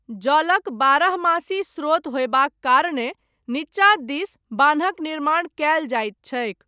जलक बारहमासी स्रोत होयबाक कारणेँ, नीचाँ दिस, बान्हक निर्माण कयल जाइत छैक।